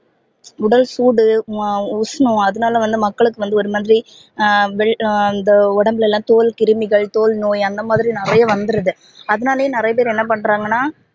உடல் சூடு ஹம் உஷ்ணம் அதனால வந்து மக்களுக்கு வந்து ஒரு மாதிரி ஹம் உடம்புல எல்லாம் தோல் கிருமிகள் தோல் நோய் அந்த மாதிரி நிறைய வந்துருது அதனாலையே நிறைய பேர் என்ன பன்றாங்கனா